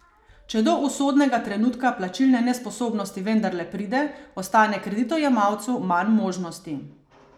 Če do usodnega trenutka plačilne nesposobnosti vendarle pride, ostane kreditojemalcu manj možnosti.